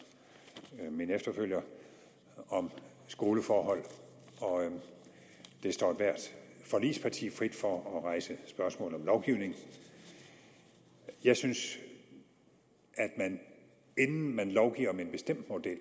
min efterfølger om skoleforhold og det står ethvert forligsparti frit for at rejse spørgsmål om lovgivning jeg synes at man inden man lovgiver om en bestemt model